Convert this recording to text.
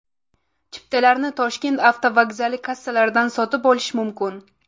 Chiptalarni Toshkent avtovokzali kassalaridan sotib olish mumkin.